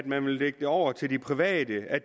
man ville lægge det over til de private at